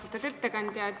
Austatud ettekandja!